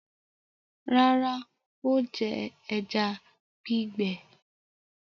Rárá, ó jẹ ẹja gbígbẹ.